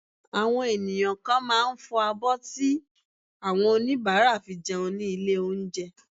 Àwọn ènìyàn kan máà ń fọ abọ́ tí àwọn oníbàárà fi jẹun ní ilé oúnjẹ.